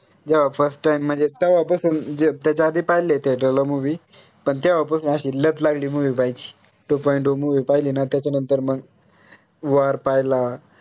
जेव्हा first time म्हणजे तवा पासून जे त्याच्या आधी पाहिले त्या तेवढ्या movie पण तेव्हा पासून अशी लत लागली movie पाहायची two point o movie पाहिलीं ना त्याच्या नंतर मग war पाहिला